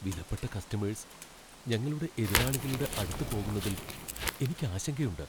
വിലപ്പെട്ട കസ്റ്റമേഴ്സ് ഞങ്ങളുടെ എതിരാളികളുടെ അടുത്ത് പോകുന്നതിൽ എനിക്ക് ആശങ്കയുണ്ട്.